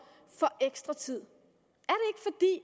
ekstra tid